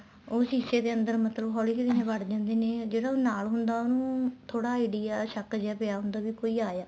ਉਹ ਸ਼ੀਸੇ ਦੇ ਅੰਦਰ ਮਤਲਬ ਹੋਲੀ ਹੋਲੀ ਵੜ ਜਾਂਦੇ ਨੇ ਜਿਹੜਾ ਉਹ ਨਾਲ ਹੁੰਦਾ ਉਹਨੂੰ ਥੋੜਾ idea ਸ਼ੱਕ ਜਾ ਪਿਆ ਹੁੰਦਾ ਵੀ ਕੋਈ ਆਇਆ